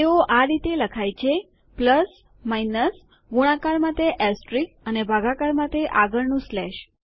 તેઓ આ રીતે લખાય છે પ્લસમાઈનસગુણાકાર માટે એસ્ટેરિસ્ક અને ભાગાકાર માટે આગળનું સ્લેશ